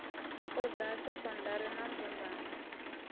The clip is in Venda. nha ha sekondari na mbumbano